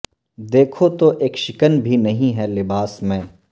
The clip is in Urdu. دیکھو تو اک شکن بھی نہیں ہے لباس میں